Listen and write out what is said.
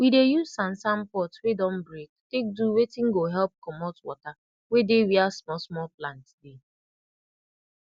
we dey use sansan pot wey don break tak do wetin go help comot wata wey dey wia small small plant dey